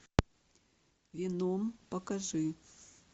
веном покажи